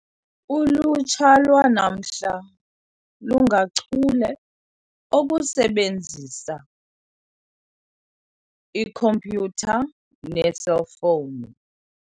Ulutsha lwanamhla lungachule okusebenzisa ikhompyutha neeselfowuni.